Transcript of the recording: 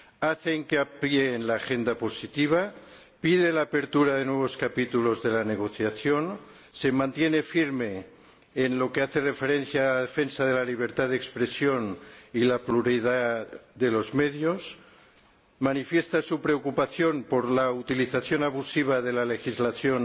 Hace hincapié en el programa positivo, pide la apertura de nuevos capítulos de la negociación, se mantiene firme por lo que respecta a la defensa de la libertad de expresión y la pluralidad de los medios, manifiesta su preocupación por la utilización abusiva de la legislación